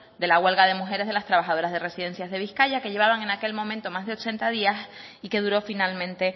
de la huelga de mujeres de las trabajadoras de residencias de bizkaia que llevaban en aquel momento más de ochenta días y que duró finalmente